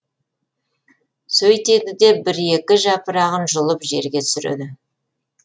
сөйтеді де бір екі жапырағын жұлып жерге түсіреді